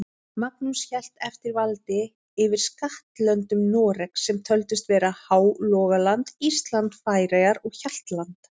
Magnús hélt eftir valdi yfir skattlöndum Noregs, sem töldust vera Hálogaland, Ísland, Færeyjar og Hjaltland.